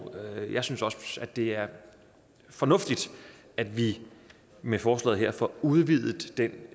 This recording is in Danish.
jeg synes også at det er fornuftigt at vi med forslaget her får udvidet den